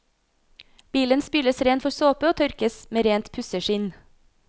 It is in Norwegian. Bilen spyles ren for såpe og tørkes med rent pusseskinn.